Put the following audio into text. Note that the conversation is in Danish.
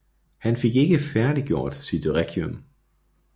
Han fik ikke færdiggjort sit Requiem